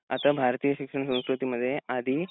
आता भारतीय शिक्षण संस्कृतीमध्ये आधी